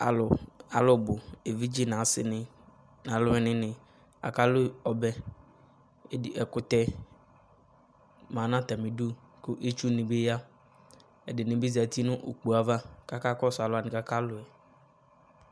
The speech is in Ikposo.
Alu, alu bu, evidze nase ne na aluwene ne aka lu ɔbɛ, Ɛdi, ɛkutɛ ma no atame du ko itsu ne be ya, Ɛdene ba zati no ukpo ava kaka kɔso alu wane kaka luɛ